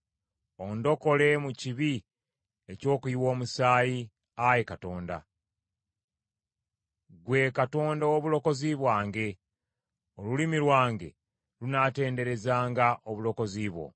Ondokole mu kibi eky’okuyiwa omusaayi, Ayi Katonda, ggwe Katonda ow’obulokozi bwange; olulimi lwange lunaatenderezanga obutuukirivu bwo.